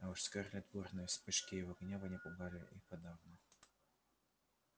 а уж скарлетт бурные вспышки его гнева не пугали и подавно